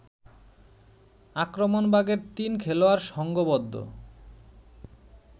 আক্রমণভাগের তিন খেলোয়াড়ের সংঘবদ্ধ